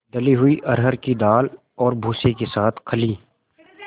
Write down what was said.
दली हुई अरहर की दाल और भूसे के साथ खली